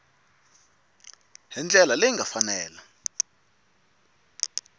hi ndlela leyi nga fanela